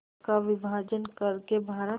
का विभाजन कर के भारत